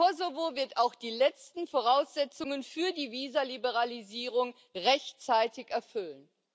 Kosovo wird auch die letzten Voraussetzungen für die Visaliberalisierung rechtzeitig erfüllen.